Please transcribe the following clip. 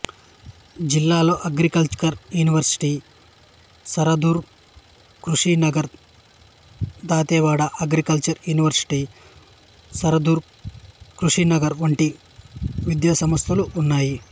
జిల్లాలో agricultural university Sardar Krushinagar Dantiwada agricultural university Sardar Krushinagar వంటి వంటి విద్యాసంస్థలు ఉన్నాయి